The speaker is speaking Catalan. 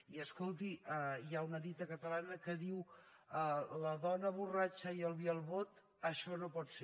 i escolti hi ha una dita catalana que diu la dona borratxa i el vi al bot això no pot ser